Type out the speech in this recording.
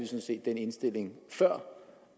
set den indstilling før